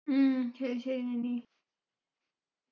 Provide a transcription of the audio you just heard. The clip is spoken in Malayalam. ഉം ശരി ശരി നനി